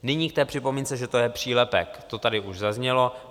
Nyní k té připomínce, že to je přílepek, to tady už zaznělo.